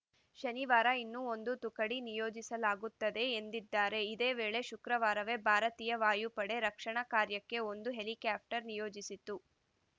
ಶನಿವಾರ ಇನ್ನೂ ಒಂದು ತುಕಡಿ ನಿಯೋಜಿಸಲಾಗುತ್ತದೆ ಎಂದಿದ್ದಾರೆ ಇದೇ ವೇಳೆ ಶುಕ್ರವಾರವೇ ಭಾರತೀಯ ವಾಯುಪಡೆಯು ರಕ್ಷಣಾ ಕಾರ್ಯಕ್ಕೆ ಒಂದು ಹೆಲಿಕಾಪ್ಟರ್‌ ನಿಯೋಜಿಸಿತ್ತು